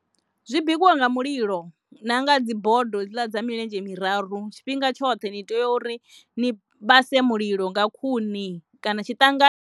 Zwi bikiwa nga mulilo na nga dzi bodo hedziḽa dza milenzhe miraru tshifhinga tshoṱhe ni tea uri ni vhase mulilo nga khuni kana tshiṱangani.